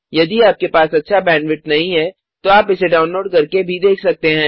यदि आपके पास अच्छा बैंडविड्थ नहीं है तो आप इसे डाउनलोड करके देख सकते हैं